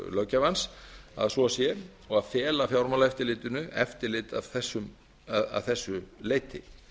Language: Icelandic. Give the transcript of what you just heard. löggjafans að svo sé og að fela fjármálaeftirlitinu eftirlit að þessu leyti